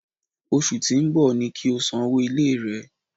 Osù tí ń bọ̀ ni kí o sanwó ilé rẹ!